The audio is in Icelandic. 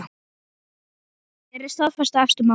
Hér er staða efstu manna